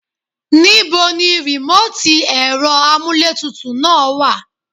Nibo ní remoti ẹ̀rọ amuletutu náà wá?